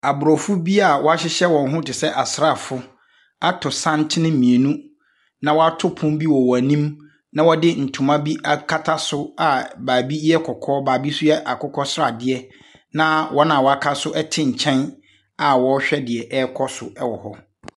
Aborɔfo bi a wɔahyehyɛ wɔn ho te sɛ asraafoɔ ato santene mmienu, na wɔato pono bi wɔ wɔn anim, na wɔde ntoma bi akata so a baabi ytɛ kɔkɔɔ, baabi nso yɛ akokɔsradeɛ na wɔn a wɔaka so te nkyɛn a wɔrehwɛ deɛ ɛrekɔ so wɔ hɔ.